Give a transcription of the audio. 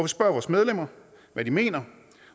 spørger vores medlemmer hvad de mener